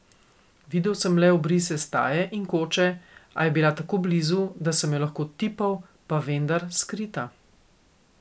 Videl sem le obrise staje in koče, a bila je tako blizu, da sem jo lahko tipal, pa vendar skrita.